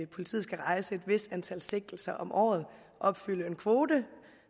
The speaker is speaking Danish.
politiet skal rejse et vist antal sigtelser om året opfylde en kvote